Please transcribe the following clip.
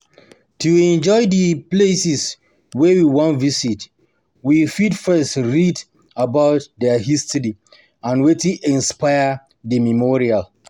To enjoy di places wey we wan visit we fit first read about their history and wetin inspire di memorial